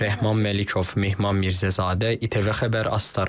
Rəhman Məlikov, Mehman Mirzəzadə, İTV Xəbər, Astara.